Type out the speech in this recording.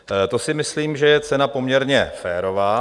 To si myslím, že je cena poměrně férová.